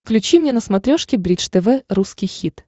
включи мне на смотрешке бридж тв русский хит